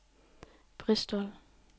Bristol